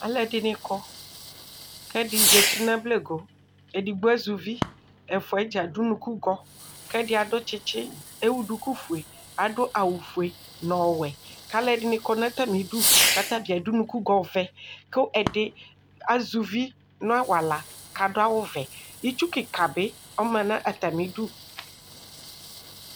Alʋ ɛdini kɔ kʋ ɛdi zati nʋ ablego edigbo azɛ uvi ɛfʋɛ dza adʋ ʋnʋkʋgɔ kʋ ɛdi adʋ tsitsi kʋ ewʋ dukufue adʋ awʋfue nʋ ɔwɛ kʋ alʋ ɛdini kɔnʋ atami idʋ kʋ atabi adʋ ʋnʋkʋgɔ ɔvɛ kʋ ɛdi azɛ uvi nʋ awala kʋ adʋ awʋvɛ itsu kika bi ɔma nʋ atami idʋ